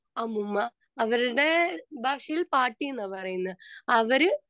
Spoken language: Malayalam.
സ്പീക്കർ 2 അമ്മുമ്മ അവരുടെ ഭാഷയിൽ പാട്ടി എന്ന പറയുന്നേ അവര്